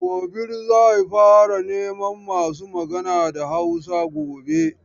Gobir zai fara neman masu magana da Hausa gobe.